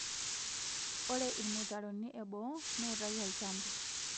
ore irmutaroni eboo niutaki olchamba